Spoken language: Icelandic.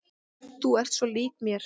Þú ert svo lík mér!